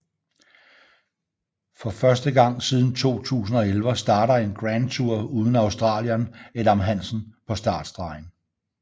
For første gang siden 2011 starter en Grand Tour uden australieren Adam Hansen på startstregen